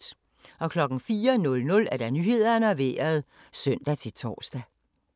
04:00: Nyhederne og Vejret (søn-tor)